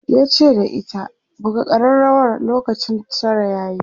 yace da ita"buga karrawar lokacin Tara yayi!'